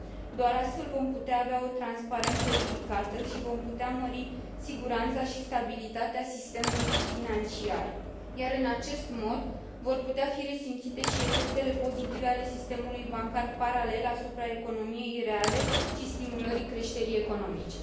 Doar astfel vom putea avea o transparență ridicată și vom putea mări siguranța și stabilitatea sistemului financiar, iar în acest mod vor putea fi resimțite și efectele pozitive ale sistemului bancar paralel asupra economiei reale și a stimulării creșterii economice.